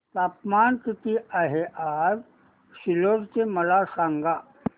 तापमान किती आहे आज सिल्लोड चे मला सांगा